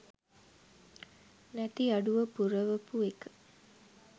නැති අඩුව පුරවපු එක